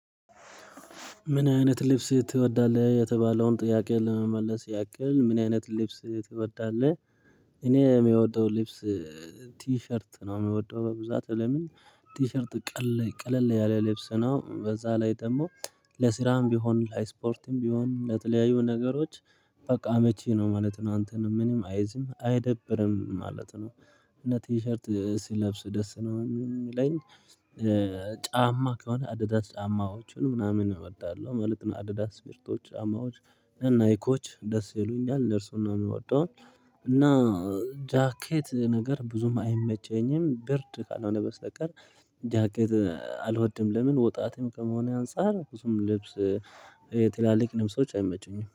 ምን አይነት ልብስ ትወዳለህ የተባለውን ጥያቄ ለመመለስ ያክል ምን አይነት ልብስ ትወዳለህ? እኔ የሚወደው ልብስ ቲሸርት ነው የሚወደው በብዛት። ለምን? ቲሸርት ቀለል ያለ ልብስ ነው። በዛ ላይ ደግሞ ለስራም ቢሆን ለስፖርትም ቢሆን ለተለያዩ ነገሮች። በቃ መቼ ነው ማለት ነው። አንተንም ምንም አይዝም አይደብርም ማለት ነው። እና ቲሸርት ስለብስ ደስ ነው የሚለኝ። ጫማ ከሆነ አዲዳት ጫማዎቹን ምናምን እወዳለሁ ማለት ነው። አዲዳስ ትሽርቶች ጫማዎች ናይኮች ደስ ይሉኛል እርሱን ነው የምወደው። እና ጃኬት ነገር ብዙም አይመቸኝም ብርድ ካልሆነ በስተቀር ጃኬት አልወድም። ለምን? ወጣትም ከመሆኔ አንፃር ብዙም ልብስ ትላልቅ ልብሶች አይመቹኝም